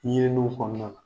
N ye faamuya.